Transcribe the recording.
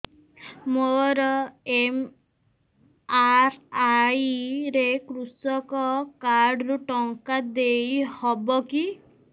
ମୋର ଏମ.ଆର.ଆଇ ରେ କୃଷକ କାର୍ଡ ରୁ ଟଙ୍କା ଦେଇ ହବ କି